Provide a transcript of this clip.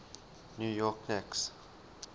new york knicks